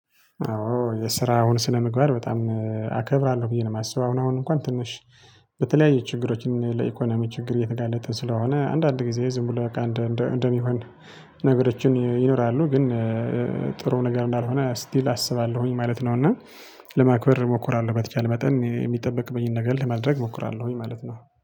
አዎ የስራውን ስነምግባር በጣም አከብራለሁ ብዬ ነው የማስበው አሁን አሁን እንኳን ትንሽ በተለያየ ችግሮችን ለኢኮኖሚ ችግር የተጋለጠ ስለሆነ አንዳንድ ጊዜ ዝም ብሎ በቃ እንደሚሆን። ነገሮችን ይኖራሉ ግን ጥሩ ነገር እንዳልሆነ ስቲል አስባለሁኝ ማለት ነው። እና ለማክበር እሞክራለሁ በተቻለ መጠን የሚጠበቅብኝን ነገር ለማድረግ እሞክራለሁኝ ማለት ነው